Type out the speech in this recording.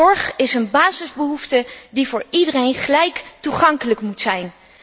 Zorg is een basisbehoefte die voor iedereen gelijk toegankelijk moet zijn.